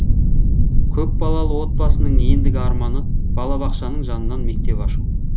көпбалалы отбасының ендігі арманы балабақшаның жанынан мектеп ашу